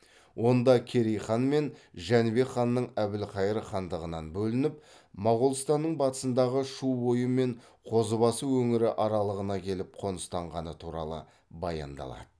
онда керей хан мен жәнібек ханның әбілхайыр хандығынан бөлініп моғолстанның батысындағы шу бойы мен қозыбасы өңірі аралығына келіп қоныстанғаны туралы баяндалады